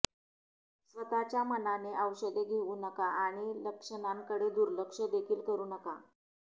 स्वतःच्या मनाने औषधे घेऊ नका आणि लक्षणांकडे दुर्लक्ष देखील करू नका